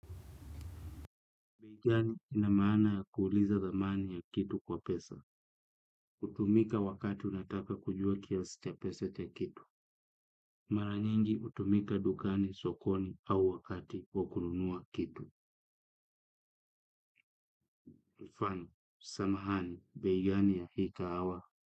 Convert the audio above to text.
Bei gani ina maana ya kuuliza thamani ya kitu kwa pesa. Hutumika wakati unataka kujua kiasi cha pesa cha kitu. Mara nyinji hutumika dukani sokoni au wakati wa kununua kitu. Infani, samahani, bei gani hakika awa.